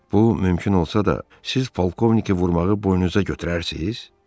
Bu mümkün olsa da, siz polkovniki vurmağı boynunuza götürərsiz?